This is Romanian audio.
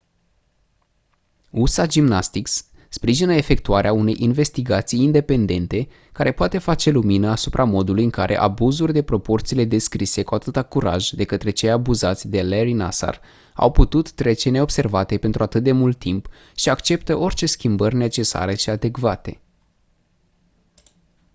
usa gymnastics sprijină efectuarea unei investigații independente care poate face lumină asupra modului în care abuzuri de proporțiile descrise cu atâta curaj de către cei abuzați de larry nassar au putut trece neobservate pentru atât de mult timp și acceptă orice schimbări necesare și adecvate